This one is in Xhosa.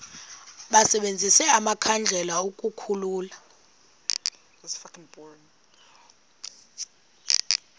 basebenzise amakhandlela ukukhulula